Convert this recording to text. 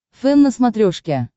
фэн на смотрешке